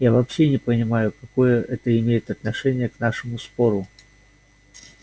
я вообще не понимаю какое это имеет отношение к нашему спору